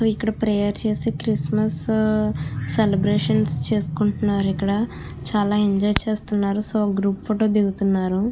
ఇక్కడ ప్రేయర్ చేసి Christmas celebrations చేసుకుంటున్నారు ఇక్కడ చాల ఎంజాయ్ చేస్తున్నారు గ్రూప్ ఫోటో దిగుతున్నారు.